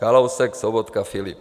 Kalousek, Sobotka, Filip.